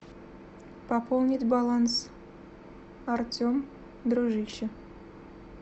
пополнить баланс артем дружище